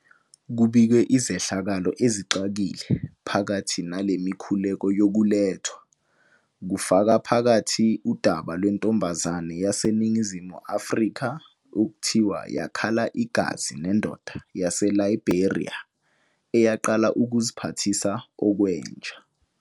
Kubikwe izehlakalo ezixakile phakathi nale mikhuleko yokulethwa, kufaka phakathi udaba lwentombazane yaseNingizimu Afrika okuthiwa yakhala igazi nendoda yaseLiberia eyaqala ukuziphathisa okwenja.